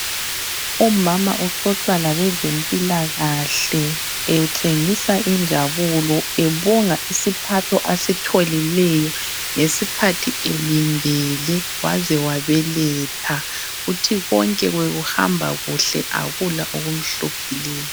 Umama uxoxa labezempilakahle etshengisa injabulo ebonga isiphatho asitholileyo ngesikhathi elindele waze wabeletha. Uthi konke bekuhamba kuhle akula okumhluphileyo.